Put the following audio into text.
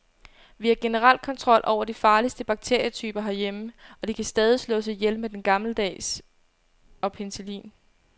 Vi har generelt kontrol over de farligste bakterietyper herhjemme, og de kan stadig slås ihjel med den gammeldags og penicillin.